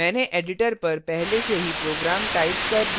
मैंने editor पर पहले से ही program टाइप कर दिया है